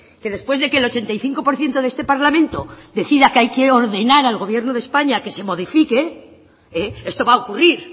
que después de que el ochenta y cinco por ciento de este parlamento decida que hay que ordenar al gobierno de españa que se modifique esto va a ocurrir